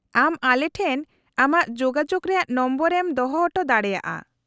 -ᱟᱢ ᱟᱞᱮᱴᱷᱮᱱ ᱟᱢᱟᱜ ᱡᱳᱜᱟᱡᱳᱜ ᱨᱮᱭᱟᱜ ᱱᱚᱢᱵᱚᱨ ᱮᱢ ᱫᱚᱦᱚ ᱦᱚᱴᱚ ᱫᱟᱲᱮᱭᱟᱜᱼᱟ ᱾